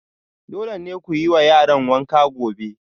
Dole ne ku yi wa yaran wanka gobe